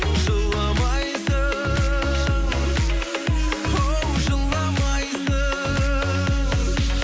жыламайсың оу жыламайсың